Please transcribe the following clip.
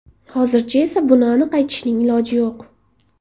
Hozircha esa buni aniq aytishning iloji yo‘q.